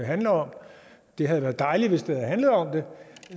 handler om det havde været dejligt hvis det havde handlet om det